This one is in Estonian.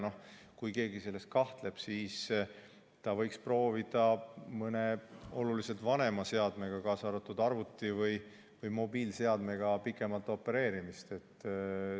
Ja kui keegi selles kahtleb, siis ta võiks proovida mõne oluliselt vanema seadmega, kaasa arvatud arvuti või mobiilseadmega pikemalt opereerida.